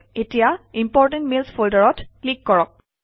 এতিয়া important mails ফল্ডাৰত click কৰক